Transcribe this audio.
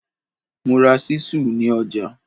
Mo ra ṣísù ní ọjà.